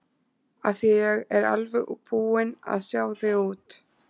Af því að ég er alveg búin að sjá þig út.